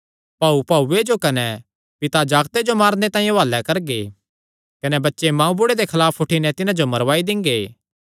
भाऊ भाऊये जो कने पिता जागते जो मारने तांई हुआलैं करगे कने बच्चे मांऊबुढ़े दे खलाफ उठी नैं तिन्हां जो मरवाई दिंगे